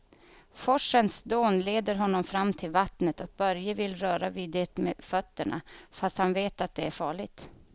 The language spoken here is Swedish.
Forsens dån leder honom fram till vattnet och Börje vill röra vid det med fötterna, fast han vet att det är farligt.